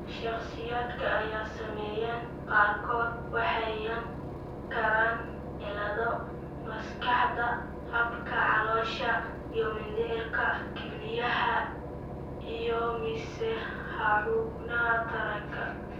Shakhsiyaadka ay saameeyeen qaarkood waxay yeelan karaan cillado maskaxda, habka caloosha iyo mindhicirka, kelyaha, iyo mise xubnaha taranka.